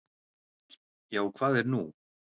"""Já, hvað er nú?"""